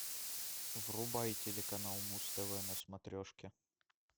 врубай телеканал муз тв на смотрешке